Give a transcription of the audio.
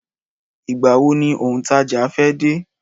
Ìgbà wo ni òun taja fe de?